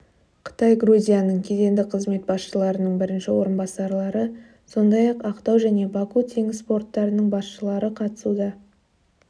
қытай грузияның кедендік қызмет басшыларының бірінші орынбасарлары сондай-ақ ақтау және баку теңіз порттарының басшылары қатысуда